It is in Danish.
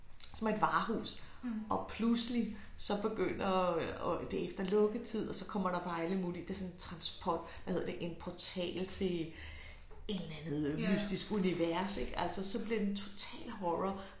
Som er et varehus og pludselig så begynder og og det efter lukketid og så kommer der bare alle mulige det sådan en trans hvad hedder det en portal til et eller andet mystisk univers ik altså så bliver den totalt horror